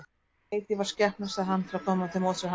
Ég veit ég var skepna, sagði hann til að koma til móts við hana.